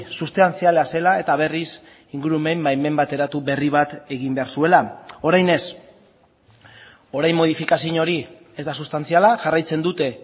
sustantziala zela eta berriz ingurumen baimen bateratu berri bat egin behar zuela orain ez orain modifikazio hori ez da sustantziala jarraitzen dute